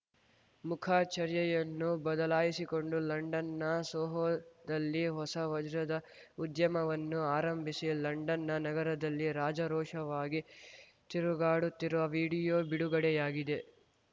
ಮುಖ ಚರ್ಯೆಯನ್ನು ಬದಲಾಯಿಸಿಕೊಂಡು ಲಂಡನ್‌ನ ಸೋಹೊದಲ್ಲಿ ಹೊಸ ವಜ್ರದ ಉದ್ಯಮವನ್ನು ಆರಂಭಿಸಿ ಲಂಡನ್‌ನ ನಗರದಲ್ಲಿ ರಾಜಾರೋಷವಾಗಿ ತಿರುಗಾಡುತ್ತಿರುವ ವೀಡಿಯೊ ಬಿಡುಗಡೆಯಾಗಿದೆ